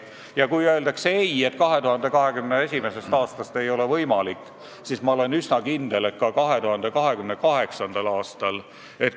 Ja kui öeldakse, et 2021. aastast ei ole võimalik, siis ma olen üsna kindel, et 2028. aastast küll.